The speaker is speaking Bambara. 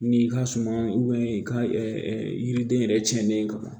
N'i ka suman i ka yiriden yɛrɛ cɛnnen ka bon